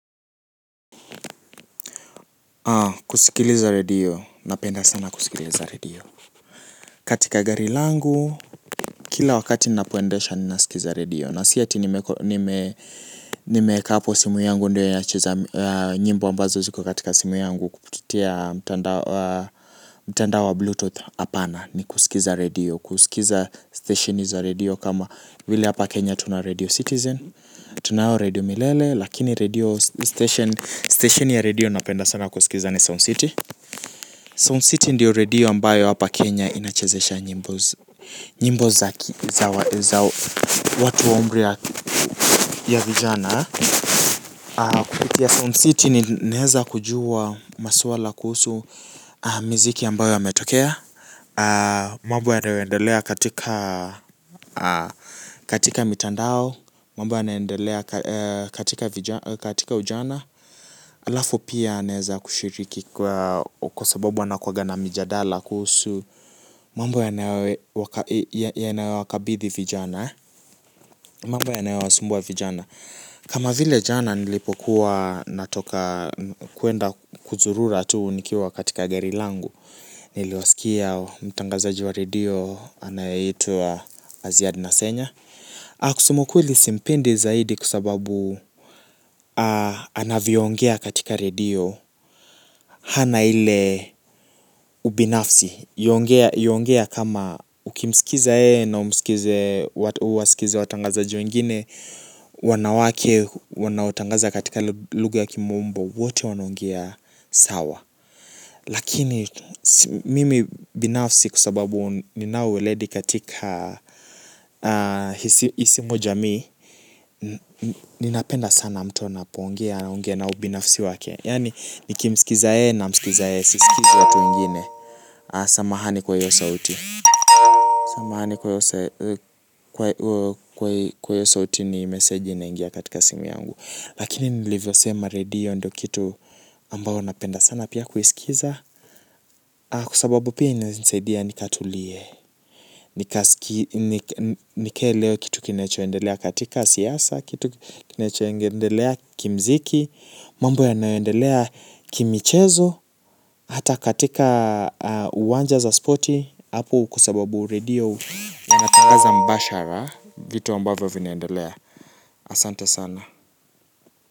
Kusikiliza redio, napenda sana kusikiliza redio katika gari langu, kila wakati ninapoendesha ninasikiza redio na si ati nimeko nime nimeeka simu yangu ndio inacheza nyimbo ambazo ziko katika simu yangu kupitia mtandao wa bluetooth hapana. Ni kusikiza radio, kusikiza station za radio kama vile hapa Kenya tuna radio citizen. Tunayo radio milele, lakini radio station ya radio napenda sana kusikiza sana ni Sound City Sound City ndiyo redio ambayo hapa Kenya inachezesha nyimbo za watu waumri ya vijana. Kupitia Sound City nineweza kujua maswala kuhusu miziki ambayo yametokea. Mambo yanayoendelea katika mitandao, mambo yanayoendelea katika ujana. Alafu pia naweza kushiriki kwa sababu wanakuwaga na mijadala kuhusu mambo yanayowakabithi vijana. Mambo yanayowasumbua vijana. Kama vile jana nilipokuwa natoka kwenda kuzurura tu nikiwa katika geri langu. Mambo yanayoendelea katika mitandao, mambo yanayoendelea katika ujana. Alafu pia naweza kushiriki kwa sababu wanakuwanga na mijadala kuhusu mambo yanayo wakabithi vijana kusema ukweli simpendi zaidi kwa sababu anavyoongea katika redio hana ile ubinafsi yuongea kama ukimsikiza yeye na uwasikize watangazaji wengine wanawake wanaotangaza katika lugha kimombo wote wanaongea sawa lakini mimi binafsi kwa sababu nina ueleledi katika isimu jamii ninapenda sana mtu napoongea anaongea na ubinafsi wake yani nikimsikiza yeye si sikizi watu wengine samahani kwa hiyo sauti samahani kwa kwa hiyo sauti ni massage ndiyo ineingia katika simu yangu lakini nilivyosema radio napenda sana kusikiza kwa sababu inanisaidia sana nikatulie nikaelewe kitu kinachoendelea katika siasa kitu kinachoendelea kimuziki mambo yanayoendelea kimchezo hata katika uwanja za spoti hapo kwa sababu radio wanatanganza mbashara vitu amabavyo vinaendelea.